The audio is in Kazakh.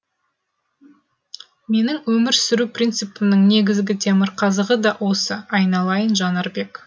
менің өмір сүру принципімнің негізгі темірқазығы да осы айналайын жанарбек